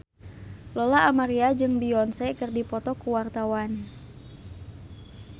Lola Amaria jeung Beyonce keur dipoto ku wartawan